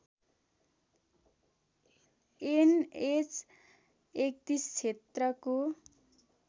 an H ३१ क्षेत्रको